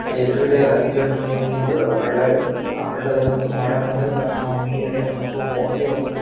ಅಲ್ಲ್ ಎದ್ರುಗಡೆ ರಾಗಿ ಜಡ್ರ್ ಲೊಂದ್ ಹಳ್ಳ ಇದೆ ಆ ಹಳ್ಳದಲಂತೂ ಮಳೆ ಬಂದ್ರೆ ಸಾಕು ನಾವು ಮೀನ್ ಹಿಡಿಯೋಕ್ ಅಂತು ಹೋಗೆ ಹೋಗ್ತಿವಿ.